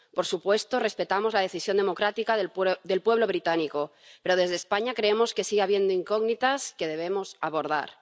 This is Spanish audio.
Por supuesto, respetamos la decisión democrática del pueblo británico, pero en España creemos que sigue habiendo incógnitas que debemos abordar.